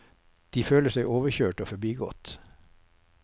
De føler seg overkjørt og forbigått.